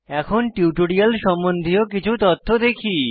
এখন টিউটোরিয়াল সম্বন্ধীয় কিছু তথ্য দেখি